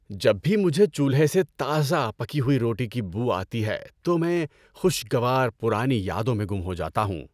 جب بھی مجھے چولہے سے تازہ پکی ہوئی روٹی کی بو آتی ہے تو میں خوشگوار پرانی یادوں میں گم ہو جاتا ہوں۔